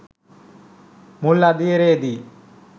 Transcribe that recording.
මුල් අදියරේ දී